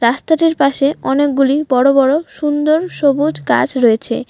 রাস্তাটির পাশে অনেকগুলি বড় বড় সুন্দর সবুজ গাছ রয়েছে।